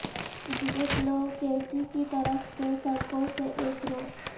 Janet لوکیسی کی طرف سے سڑکوں سے ایک رو